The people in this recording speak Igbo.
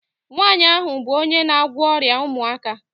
Nwaanyị ahụ bụ onye na-agwọ ọrịa ụmụaka